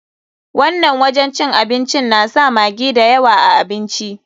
Wannan wajen cin abincin na sa maggi da yawa a abinci.